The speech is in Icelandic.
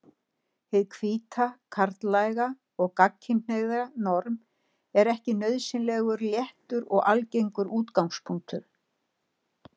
Hið hvíta, karllæga og gagnkynhneigða norm er ekki nauðsynlega réttur og algildur útgangspunktur.